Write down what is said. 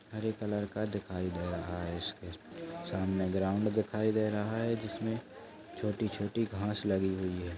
हरे colour का दिखाई दे रहा इस पे सामने ग्राउंड दिखाई दे रहा है जिसमें छोटी-छोटी घांस लगी हुई है।